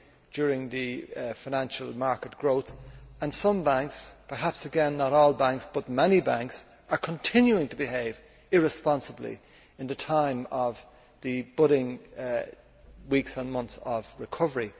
during the financial market growth and some banks perhaps, again, not all banks, but many banks are continuing to behave irresponsibly in the time of the budding weeks and months of recovery.